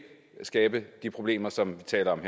skabe de problemer som vi taler om